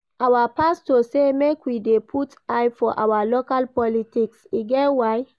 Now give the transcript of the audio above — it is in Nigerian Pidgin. Our pastor say make we dey put eye for our local politics, e get why.